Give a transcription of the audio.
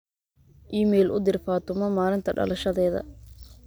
iimayl u dir fatuma maalinta dhalashadeeda